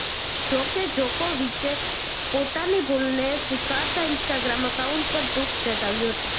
જો કે જોકોવિચે પોતાની ભૂલને સ્વીકારતાં ઈન્સ્ટાગ્રામ એકાઉન્ટ પર દુઃખ જતાવ્યું હતું